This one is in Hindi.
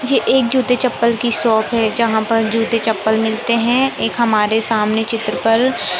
ये एक जूते चप्पल की शॉप है जहां पर जूते चप्पल मिलते हैं एक हमारे सामने चित्र पर--